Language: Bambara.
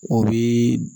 O bi